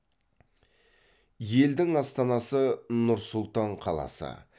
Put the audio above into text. елдің астанасы нұр сұлтан қаласы